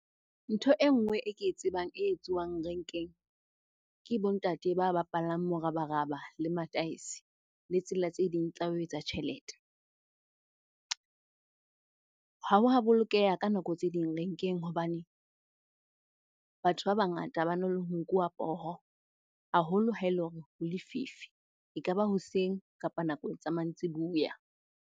Ntho e nngwe e ke e tsebang e etsuwang renkeng, ke bo ntate ba bapalang morabaraba le mataese, le tsela tse ding tsa ho etsa tjhelete. Ha wa bolokeha ka nako tse ding renkeng hobane batho ba bangata bana le nkuwa poho haholo ha ele hore ho lefifi. Ekaba hoseng kapa nakong e tsa mantsibuya.